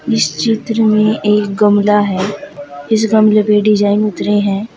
इस चित्र में एक गमला है इस गमले पे डिजाइन उतरे हैं।